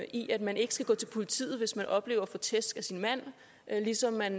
i at man ikke skal gå til politiet hvis man oplever at få tæsk af sin mand ligesom han